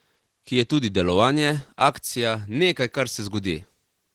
Ki je tudi delovanje, akcija, nekaj, kar se zgodi.